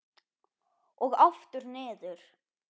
Og aftur niður.